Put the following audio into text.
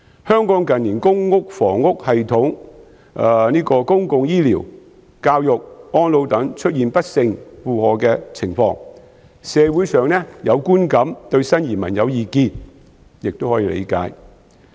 香港近年的公共房屋系統、公共醫療、教育和安老等出現不勝負荷的情況，社會上有觀感對新移民有意見亦可以理解。